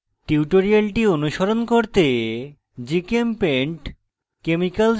tutorial অনুসরণ করতে